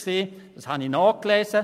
Dies habe ich nachgelesen.